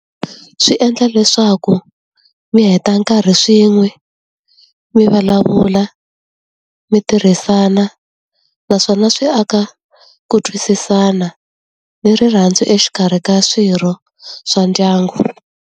Swi endla leswaku mi heta nkarhi swin'we, mi vulavula, mi tirhisana. Naswona swi aka ku twisisana ni rirhandzu exikarhi ka swirho swa ndyangu.